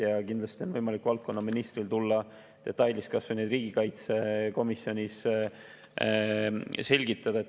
Ja kindlasti on valdkonnaministril võimalik tulla ja detailides kas või riigikaitsekomisjonis kõike selgitada.